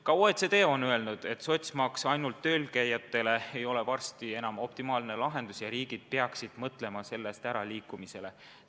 Ka OECD on öelnud, et sotsmaks ainult tööl käijatele ei ole varsti enam optimaalne lahendus ja riigid peaksid mõtlema muule lahendusele.